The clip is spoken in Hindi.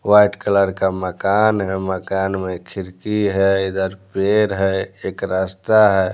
वाइट कलर का मकान है मकान में खिड़की है इधर पेड़ है एक रास्ता है।